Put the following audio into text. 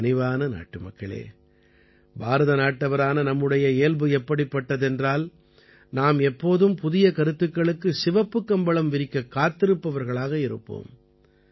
என் கனிவான நாட்டுமக்களே பாரதநாட்டவரான நம்முடைய இயல்பு எப்படிப்பட்டதென்றால் நாம் எப்போதும் புதிய கருத்துக்களுக்குச் சிவப்புக் கம்பளம் விரிக்கக் காத்திருப்பவர்களாக இருப்போம்